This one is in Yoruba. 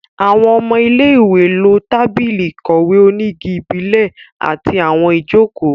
Àwọn ọmọ ilé-ìwé lo tábìlì ìkọ̀wé onígi ìbílẹ̀ àti àwọn ìjókòó